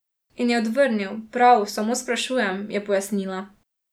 In je odvrnil: 'Prav, samo sprašujem'," je pojasnila.